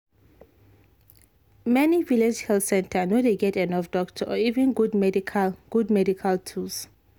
many village health center no dey get enough doctor or even good medical good medical tools.